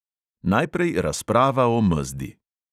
Najprej razprava o mezdi.